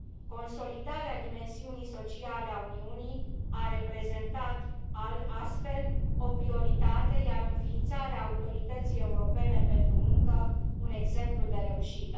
Consolidarea dimensiunii sociale a Uniunii a reprezentat, astfel, o prioritate, iar înființarea Autorității Europene pentru Muncă, un exemplu de reușită.